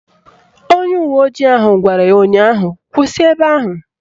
Onye uwe ojii ahụ gwara ya ụnyaahụ "Kwụsị ebe ahụ"!